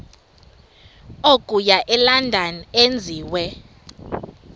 okuya elondon enziwe